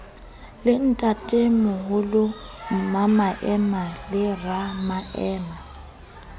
le ntatemoholo mmamaema le ramaema